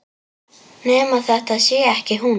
Nema þetta sé ekki hún.